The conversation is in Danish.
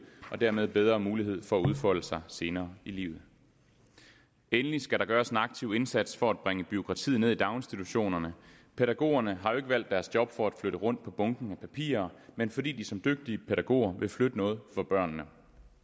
og dermed bedre mulighed for at udfolde sig senere i livet endelig skal der gøres en aktiv indsats for at bringe bureaukratiet ned i daginstitutionerne pædagogerne har jo ikke valgt deres job for at flytte rundt på bunken med papirer men fordi de som dygtige pædagoger vil flytte noget for børnene